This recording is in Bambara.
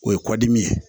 O ye kɔdimi ye